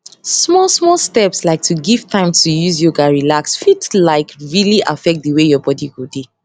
small small steps like to give time to use yoga relax fit like really affect di way your bodi go dey